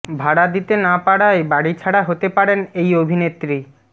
ভাড়া দিতে না পারায় বাড়িছাড়া হতে পারেন এই অভিনেত্রী